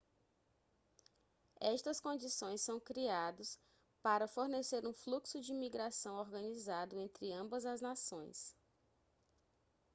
estas condições são criados para fornecer um fluxo de migração organizado entre ambas as nações